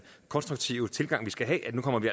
konstruktive tilgang vi skal have